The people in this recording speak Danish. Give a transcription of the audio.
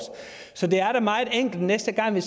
så det er da meget enkelt næste gang vi